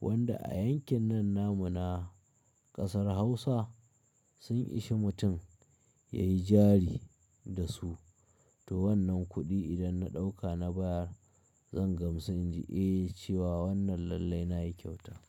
wanda a yankin nan namu na ƙasar Hausa sun ishe mutum yayi jari da su. To wannan kuɗi idan na ɗauka na bayar zan gamsu in ji "Eh" cewa wannan lallai nayi kyauta.